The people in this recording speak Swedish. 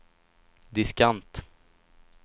diskant